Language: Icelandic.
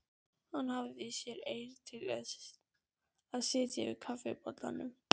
Hafði ekki eirð í sér til að sitja yfir kaffibollanum.